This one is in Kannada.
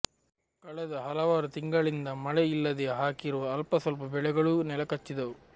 ಕಳೆದ ಹಲವಾರು ತಿಂಗಳಿಂದ ಮಳೆ ಯಿಲ್ಲದೆ ಹಾಕಿರುವ ಅಲ್ಪಸ್ವಲ್ಪ ಬೆಳೆಗಳು ನೆಲಕಚ್ಚಿದ್ದವು